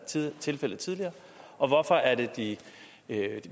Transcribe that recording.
tilfældet tidligere og hvorfor er det de